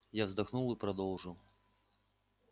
я вздохнул и продолжил